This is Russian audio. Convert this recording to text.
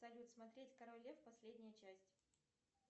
салют смотреть король лев последняя часть